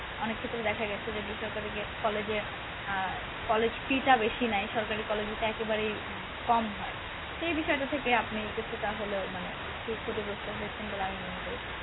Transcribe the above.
অনেক ক্ষেত্রেই দেখা গেছে যে বেসরকারি college আহ college fee টা বেশি নেয় সরকারি college তো একেবারেই হম কম হয় সেই বিষয়টা থেকে আপনি কিছুটা হলেও মানে একটু ক্ষতিগ্রস্ত হয়েছেন বলে আমি মনে করি